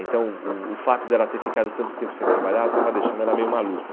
Então o o fato de ela ter ficado tanto tempo sem trabalhar estava deixando ela meio maluca.